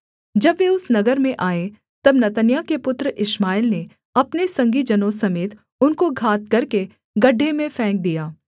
जब वे उस नगर में आए तब नतन्याह के पुत्र इश्माएल ने अपने संगी जनों समेत उनको घात करके गड्ढे में फेंक दिया